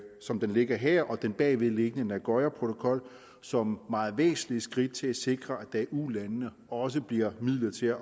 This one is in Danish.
som det ligger her og den bagvedliggende nagoyaprotokol som meget væsentlige skridt til at sikre at der i ulandene også bliver midler til at